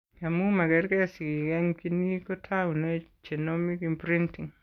Amu magerge sigik eng' ginit kotoune genomic imprinting.